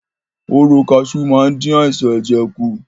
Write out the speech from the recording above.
Hóró kaṣú máa ń dí àìsàn ẹ̀jẹ̀ kù.